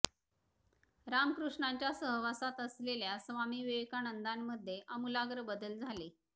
रामकृष्णांच्या सहवासात असलेल्या स्वामी विवेकानंदांमध्ये आमूलाग्र बदल झाले